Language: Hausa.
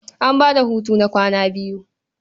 An ba da hutu na kwana biyu.